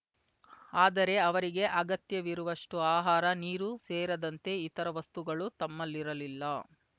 ಆದರೆ ಅವರಿಗೆ ಅಗತ್ಯವಿರುವಷ್ಟುಆಹಾರ ನೀರು ಸೇರದಂತೆ ಇತರ ವಸ್ತುಗಳು ತಮ್ಮಲ್ಲಿರಲಿಲ್ಲ